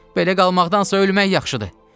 Belə qalmaqdansa ölmək yaxşıdır.